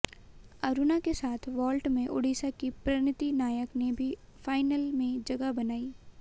अरुणा के साथ वॉल्ट में उड़ीसा की प्रणति नायक ने भी फाइनल में जगह बनाई